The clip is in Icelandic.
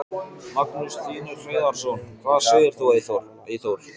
Magnús Hlynur Hreiðarsson: Hvað segir þú Eyþór?